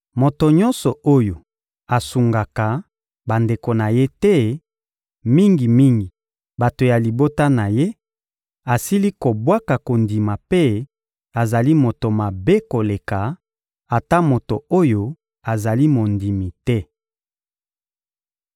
Moto nyonso oyo asungaka bandeko na ye te, mingi-mingi bato ya libota na ye, asili kobwaka kondima mpe azali moto mabe koleka ata moto oyo azali mondimi te.